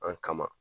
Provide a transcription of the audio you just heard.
An kama